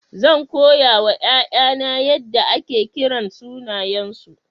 Zan koya wa 'ya'yana yadda ake kiran sunayensu.